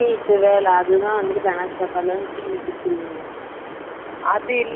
அத்தி அதைத்தா வா கை புடிச்சிட்டு ம் இப்படி கரகம் சுத்துற மாதிரி ஆளாளுக்கு.